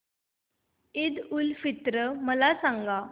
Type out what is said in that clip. ईद उल फित्र मला सांग